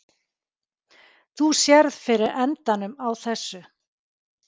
Þú sérð fyrir endanum á þessu?